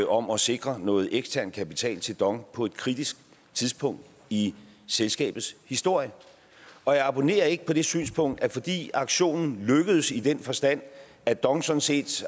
om at sikre noget ekstern kapital til dong på et kritisk tidspunkt i selskabets historie og jeg abonnerer ikke på det synspunkt at fordi aktionen lykkedes i den forstand at dong sådan set